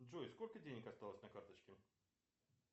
джой сколько денег осталось на карточке